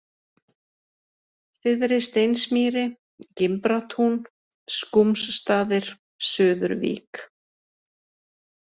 Syðri Steinsmýri, Gimbratún, Skúmsstaðir, Suður-Vík